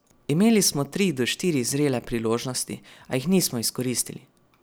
Imeli smo tri do štiri zrele priložnosti, a jih nismo izkoristili.